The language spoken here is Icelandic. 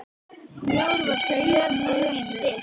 Snjór var á jörð og ekki dimmt.